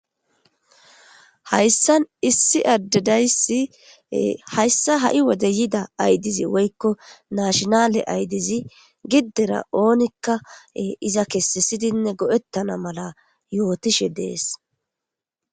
Hayisani issi ade dayisi hayisa hai Wode yida adeza woyikko nashshinale adezi gidera onnikka iza kesisidi goeetana mala yotishshe detesi